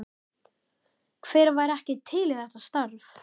Hver væri ekki til í þetta starf?